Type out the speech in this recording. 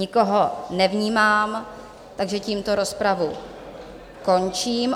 Nikoho nevnímám, takže tímto rozpravu končím.